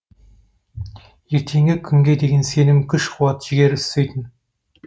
ертеңгі күнге деген сенім күш қуат жігер үстейтін